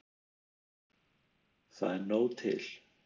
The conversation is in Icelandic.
Það er nóg til.